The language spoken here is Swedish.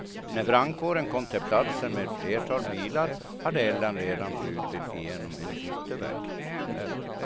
När brandkåren kom till platsen med ett flertal bilar, hade elden redan brutit igenom en yttervägg.